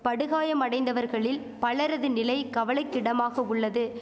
படுகாயமடைந்தவர்களில் பலரது நிலை கவலைக்கிடமாக உள்ளது